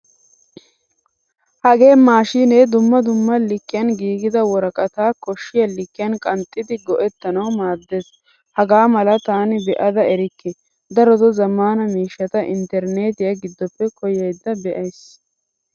Hagee mashinee dumma dumma likiyan giigida woraqata koshiya likkiyan qanxxidi go'ettanawu maaddees. Hagaamala taani beada erikke. Daroto zamaana miishshata interinetiya gidoppe koyayda be:aysi.